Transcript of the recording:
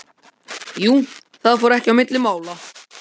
Jú, það fór ekki á milli mála.